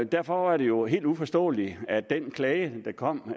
derfor var det jo helt uforståeligt at den klage der kom